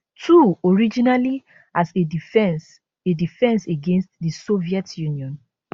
two originally as a defence a defence against di soviet union